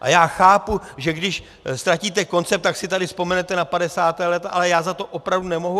A já chápu, že když ztratíte koncept, tak si tady vzpomenete na 50. léta, ale já za to opravdu nemohu.